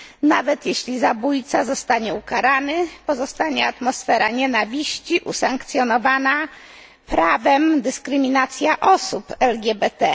Nawet jeśli zabójca zostanie ukarany, pozostanie atmosfera nienawiści, usankcjonowana prawem dyskryminacja osób LGBT.